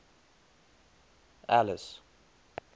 alice